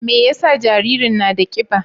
Me yasa jaririn na da kiba?